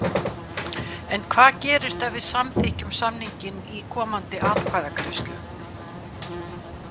En hvað gerist ef við samþykkjum samninginn í komandi atkvæðagreiðslu?